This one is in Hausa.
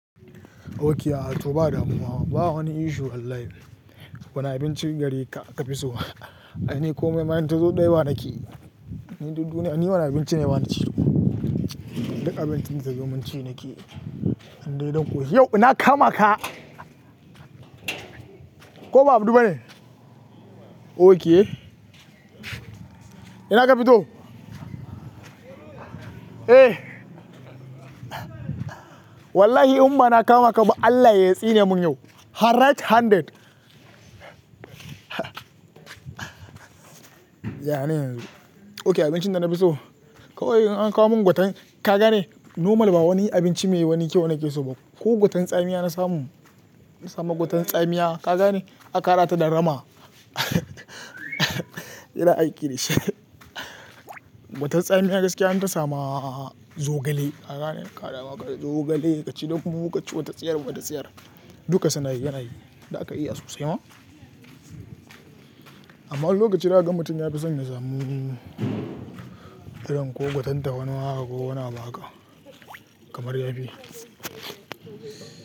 Okay, a to ba damuwa. Ba wani issue wallahi. Wane abincin garika ka fi so? Ni kome ma in tazo ɗai ba nakeyi ni duk duniya ni wane abinci ne ba ni ci. Duk abincin da tazo man ci nake. In dai don ƙoshi. Yau na kama ka. Ko ba abdu bane? Okay, ina ka fito? Eh. Wallahi imma na kama ka ba Allah ya tsine mun yau. Har ret handed. Yana nan yazo. Okay abincin da na fi so? Kawai in an kawo mun gwaten. Ka gane normal ba wani abinci mai wani kyau na ke so ba. Ko gwaten tsamiya na samu. Na samu gwaten tsamiya. Ka gane aka haɗata da rama. Ina aiki da shi. Gwaten tsamiya gaskiya in ta sama zogale. Ka gane? Kaɗawa kaɗe zogale, ka ci dai kuma ka ci wata tsiyar wata tsiyar. Duka suna yi, yana yi. Da aka iya sosai ma. Amma wani lokaci za kaga mutum, ya fi son ya samu irin ko gwaten ta wani ma haka ko wani abu haka kamar yafi.